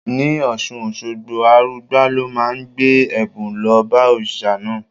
Ní Ọ̀ṣun Òṣogbo, Arugbá ló máa ń gbé ẹ̀bùn lọ bá òrìṣà náà.